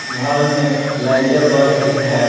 घर में लाइटें बढ़ रही है।